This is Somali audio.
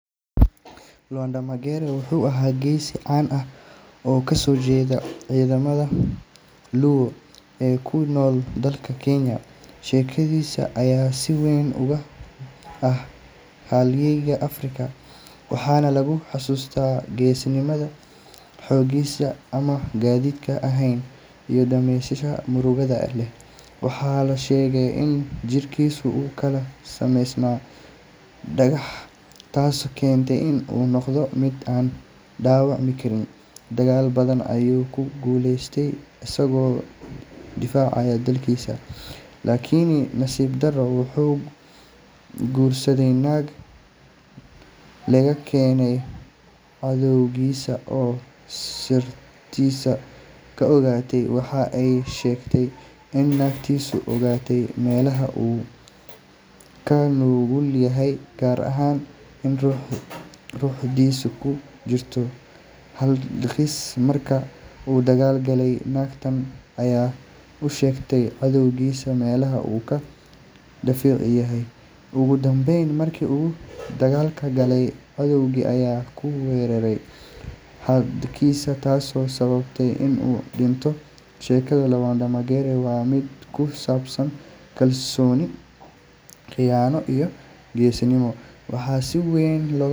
Lwanda Magere wuxuu ahaa geesi caan ah oo ka soo jeeda qoomiyadda Luo ee ku nool dalka Kenya. Sheekadiisa ayaa si weyn uga mid ah halyeeyada Afrika waxaana lagu xasuustaa geesinimadiisa, xooggiisa aan caadiga ahayn, iyo dhimashadiisa murugada leh. Waxaa la sheegay in jirkiisu uu ka samaysnaa dhagax, taasoo keentay in uu noqdo mid aan dhaawacmi karin. Dagaal badan ayuu ku guuleystay isagoo difaacaya dadkiisa. Laakiin nasiib darro, wuxuu guursaday naag laga keenay cadowgiisa oo sirtiisa ka ogaatay. Waxa ay sheegtay in naagtiisu ogaatay meelaha uu ka nugul yahay, gaar ahaan in ruuxdiisu ku jirto hadhkiisa. Markii uu dagaal galay, naagtan ayaa u sheegtay cadowgiisa meelaha uu ka daciif yahay. Ugu dambeyn, markii uu dagaal galay, cadowgii ayaa ku weeraray hadhkiisa taasoo sababtay in uu dhinto. Sheekada Lwanda Magere waa mid ku saabsan kalsooni, khiyaano, iyo geesinimo, waxaana si weyn.